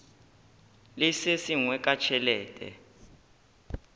le se sengwe ka tšhelete